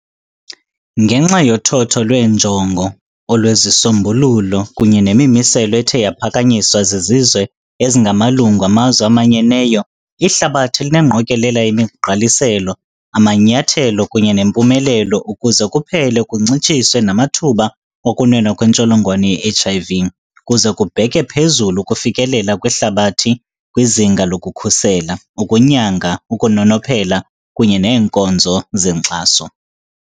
Ngenxa yothotho lweenjongo, olwezisombululo, kunye nemimiselo ethe yaphakanyiswa zizizwe ezingamalungu amazwe amanyeneyo, ihlabathi linengqokolela yemigqaliselo, amanyathelo, kunye nempumelelo ukuze kuphele kuncitshiswe namathuba okunwenwa kwentsholongwane ye-H.I.V. kuze kubheke phezulu ukufikelela kwehlabathi kwizinga lokukhusela, ukunyanga, ukunonophela, kunye neenkonzo zenkxaso.